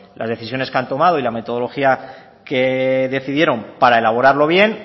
las decisiones que han tomado y la metodología que decidieron para elaborarlo bien